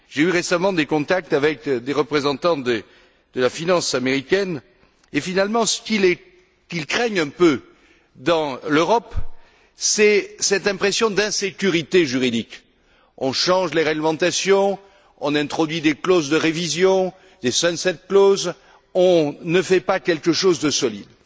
J'ai récemment eu des contacts avec des représentants de la finance américaine et, finalement, ce qui les dérange, avec l'Europe, c'est cette impression d'insécurité juridique on change les réglementations, on introduit des clauses de révision, des sunset clauses on ne construit pas quelque chose de solide.